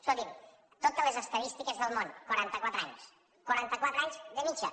escolti’m totes les estadístiques del món quaranta quatre anys quaranta quatre anys de mitjana